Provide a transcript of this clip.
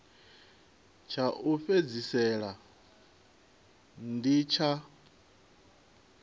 tsha u fhedzisela ndi tsha